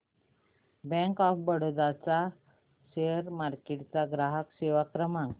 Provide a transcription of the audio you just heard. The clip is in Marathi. बँक ऑफ बरोडा चा शेअर मार्केट ग्राहक सेवा क्रमांक